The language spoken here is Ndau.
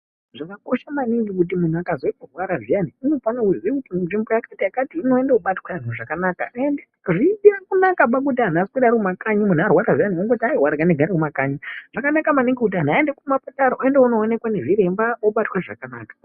Zvakakosha maningi kuti muntu akazwe kurwara zviyani, unofane kuziye kuti nzvimbo yakati-yakati inoinde koobatwa zvakanaka. Hazvina kunakaba kuti antu arwara zviyani aswere ariyo kumakanyi, muntu arwara zviyani ongoti regai ndiswere mumakanyi. Zvakanaka maningi kuti anhu aende kumapatara, oende kuoonekwa nezvirwmba, obatwa zvakanaka.